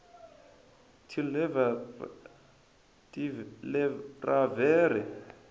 tivleravhere